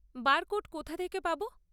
Barcode কোথা থেকে পাব?